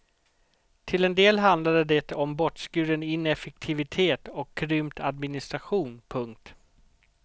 Till en del handlade det om bortskuren ineffektivitet och krympt administration. punkt